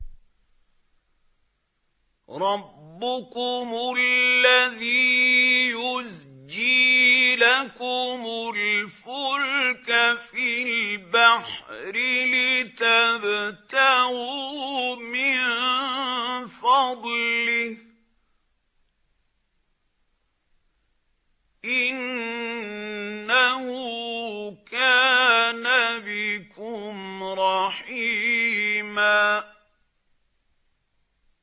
رَّبُّكُمُ الَّذِي يُزْجِي لَكُمُ الْفُلْكَ فِي الْبَحْرِ لِتَبْتَغُوا مِن فَضْلِهِ ۚ إِنَّهُ كَانَ بِكُمْ رَحِيمًا